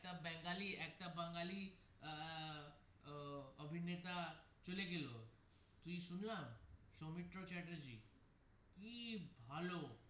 একটা বেঙ্গলি একটা বাঙলি আহ অভিনেতা চলে গেলো তুই শোনানা সৌমিত্র চ্যাটার্জী কি ভালো.